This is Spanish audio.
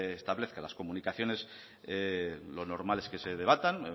establezca las comunicaciones lo normal es que se debatan